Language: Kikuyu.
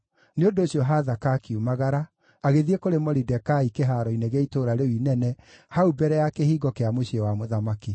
Nĩ ũndũ ũcio Hathaka akiumagara, agĩthiĩ kũrĩ Moridekai kĩhaaro-inĩ gĩa itũũra rĩu inene hau mbere ya kĩhingo kĩa mũciĩ wa mũthamaki.